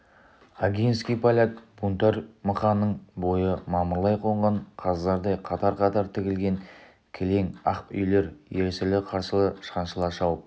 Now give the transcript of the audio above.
огинский поляк бунтарь мықанның бойы мамырлай қонған қаздардай қатар-қатар тігілген кілең ақ үйлер ерсілі-қарсылы шаншыла шауып